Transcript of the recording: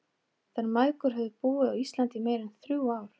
Þær mæðgur höfðu búið á Íslandi í meira en þrjú ár.